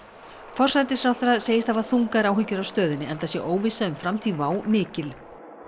forsætisráðherra segist hafa þungar áhyggjur af stöðunni enda sé óvissa um framtíð WOW mikil